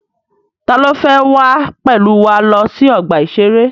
Ta ló fẹ́ wá pẹ̀lú wa lọ sí ọgbà-ìṣeré?